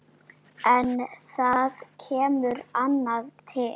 En það kemur annað til.